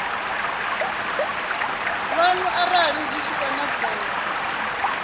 lwanu arali zwi tshi konadzea